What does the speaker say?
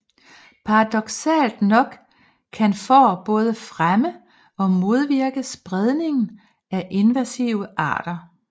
Paradoksalt nok kan får både fremme og modvirke spredningen af invasive arter